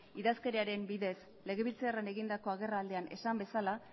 idazkeraren bidez legebiltzarrean egindako agerraldian esan bezala